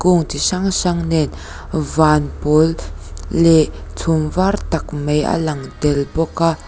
kung chi hrang hrang nen van pawl leh chhum vat tak mai a lang tel bawk a.